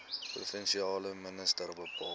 provinsiale minister bepaal